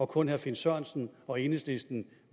kun herre finn sørensen og enhedslisten